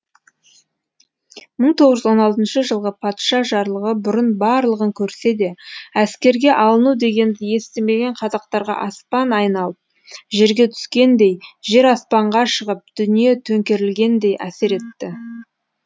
мың тоғыз жүз он алтыншы жылғы патша жарлығы бұрын барлығын көрсе де әскерге алыну дегенді естімеген қазақтарға аспан айналып жерге түскендей жер аспанға шығып дүние төңкерілгендей әсер етті